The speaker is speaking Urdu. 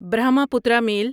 برہماپترا میل